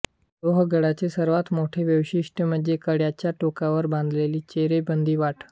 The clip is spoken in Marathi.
लोहगडाचे सर्वात मोठे वैशिष्ट्य म्हणजे कड्याच्या टोकावर बांधलेली चिरेबंदी वाट